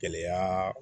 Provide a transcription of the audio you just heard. Gɛlɛya